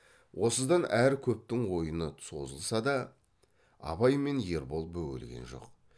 осыдан әрі көптің ойыны созылса да абай мен ербол бөгелген жоқ